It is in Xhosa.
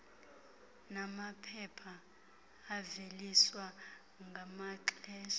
namaphepha aveliswa ngamaxesha